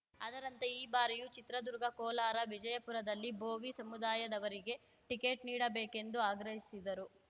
ಅದರಂತೆ ಈ ಬಾರಿಯೂ ಚಿತ್ರದುರ್ಗ ಕೋಲಾರ ವಿಜಯಪುರದಲ್ಲಿ ಭೋವಿ ಸಮುದಾಯದವರಿಗೆ ಟಿಕೆಟ್‌ ನೀಡಬೇಕು ಎಂದು ಆಗ್ರಹಿಸಿದರು